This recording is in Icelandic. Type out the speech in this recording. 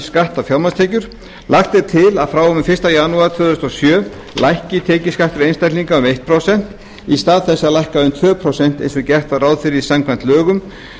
á fjármagnstekjur lagt er til að frá og með fyrsta janúar tvö þúsund og sjö lækki tekjuskattur einstaklinga um eitt prósent í stað þess að lækka um tvö prósent eins og gert var ráð fyrir samkvæmt lögum